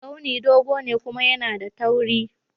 Tsauni dogo ne kuma yAna da tauri